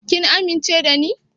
Kin amince da ni?